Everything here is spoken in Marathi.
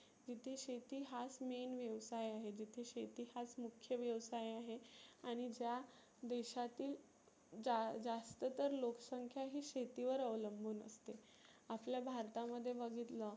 तीथे शेती हाच main व्यवसाय आहे. जिथे हाच मुख्य व्यवसाय आहे आणि ज्या देशातील जा जास्त तर लोक संख्या ही शेती वर अवलंबुन असते. आपल्या भारता मध्ये बघितलं